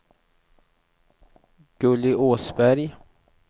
Gurli Åsberg